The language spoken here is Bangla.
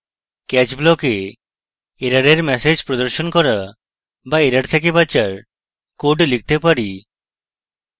catch block we এররের ম্যাসেজ প্রদর্শন করা বা error থেকে বাঁচার code লিখতে পারি